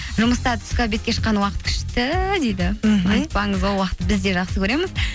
жұмыста түскі обедке шыққан уақыт күшті дейді мхм айтпаңыз ол уақытты біз де жақсы көреміз